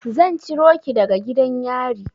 Zan ciro ki daga gidan yari.